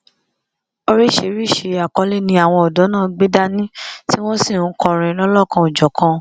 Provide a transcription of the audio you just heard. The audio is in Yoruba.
oríṣiríṣii àkọlé ni àwọn ọdọ náà gbé dání tí wọn sì ń kọrin lọlọkanòjọkan